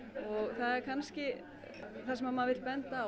það er kannski það sem maður vill benda á